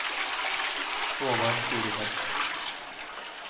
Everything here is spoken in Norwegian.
Håvard Furuseth